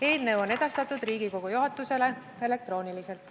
Eelnõu on edastatud Riigikogu juhatusele elektrooniliselt.